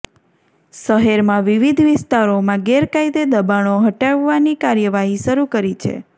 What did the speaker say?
શહેરમાં વિવિધ વિસ્તારોમાં ગેરકાયદે દબાણો હટાવવાની કાર્યવાહી શરૂ કરી છે